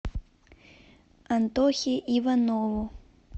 антохе иванову